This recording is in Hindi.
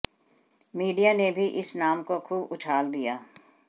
मीडिया ने भी इस नाम को खुब उछाल दिया